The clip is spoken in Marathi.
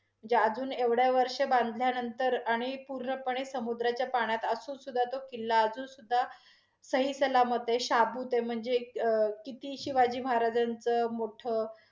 जे अजुन एवढं वर्ष बांधल्या नंतर, आणि पूर्णपणे समुद्राच्या पाण्यात असून सुद्धा, तो किल्ला अजून सुधा सहिसलामत आहे, शाबूत आहे म्हणजे किती शिवाजी महाराजांच मोठ